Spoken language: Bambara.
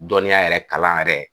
Dɔniya yɛrɛ kalan yɛrɛ